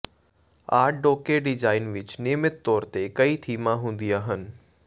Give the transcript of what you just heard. art deco design ਵਿਚ ਨਿਯਮਿਤ ਤੌਰ ਤੇ ਕਈ ਥੀਮਾਂ ਹੁੰਦੀਆਂ ਹਨ